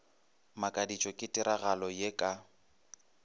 makaditšwe ke tiragalo ye ka